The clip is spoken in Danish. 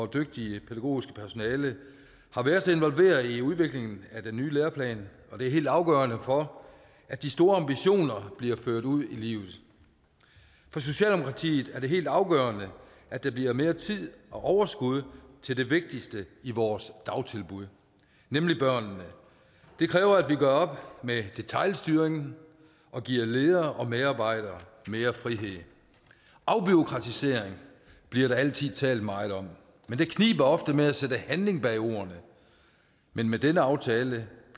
dygtige pædagogiske personale har været så involveret i udviklingen af den nye læreplan og det er helt afgørende for at de store ambitioner bliver ført ud i livet for socialdemokratiet er det helt afgørende at der bliver mere tid og overskud til det vigtigste i vores dagtilbud nemlig børnene det kræver at vi gør op med detailstyringen og giver ledere og medarbejdere mere frihed afbureaukratisering bliver der altid talt meget om men det kniber ofte med at sætte handling bag ordene men med denne aftale